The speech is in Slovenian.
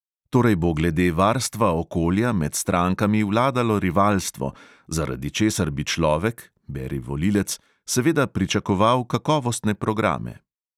Torej bo glede varstva okolja med strankami vladalo rivalstvo, zaradi česar bi človek (beri volilec) seveda pričakoval kakovostne programe.